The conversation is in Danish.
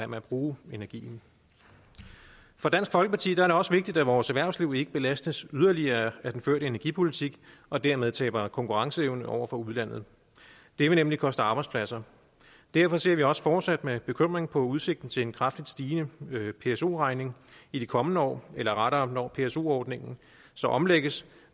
med at bruge energien for dansk folkeparti er det også vigtigt at vores erhvervsliv ikke belastes yderligere af den førte energipolitik og dermed taber konkurrenceevne over for udlandet det vil nemlig koste arbejdspladser derfor ser vi også fortsat med bekymring på udsigten til en kraftigt stigende pso regning i de kommende år eller rettere når pso ordningen så omlægges